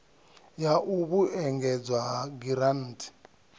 ya u vhuedzedzwa ha giranthi